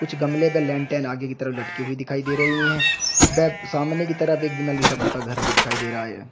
कुछ गमलें ग लेंटेन आगे की तरफ लटकी हुई दिखाई दे रही है बै सामने की तरफ एक नली सा पुता घर भी दिखाई दे रहा है।